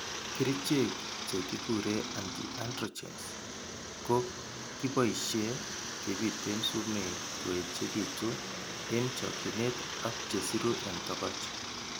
Kerchek che kikure anti-androgens ko kiboisie kebiteen sumeek koechekitu eng' chokchinet ak chesiru eng' togoch.